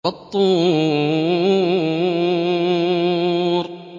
وَالطُّورِ